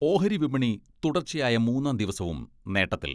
ഓഹരി വിപണി തുടർച്ചയായ മൂന്നാം ദിവസവും നേട്ടത്തിൽ.